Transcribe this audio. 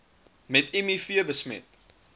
met miv besmet